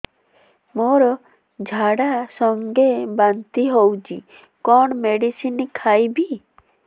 ମୋର ଝାଡା ସଂଗେ ବାନ୍ତି ହଉଚି କଣ ମେଡିସିନ ଖାଇବି